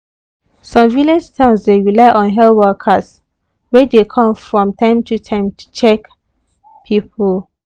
some village towns dey rely on health workers wey dey come from time to time to check people.